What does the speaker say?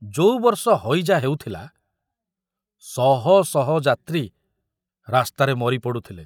ଯୋଉ ବର୍ଷ ହଇଜା ହେଉଥିଲା, ଶହ ଶହ ଯାତ୍ରୀ ରାସ୍ତାରେ ମରି ପଡୁଥିଲେ।